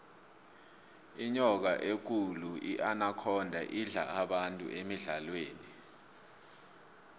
inyoka ekulu inakhonda idla abantu emidlalweni